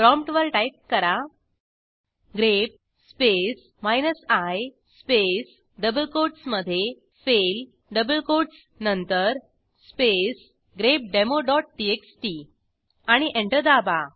prompt वर type करा grep space minus I space double कोटसमधे फेल डबल कोटस नंतर स्पेस grepdemoटीएक्सटी आणि एंटर दाबा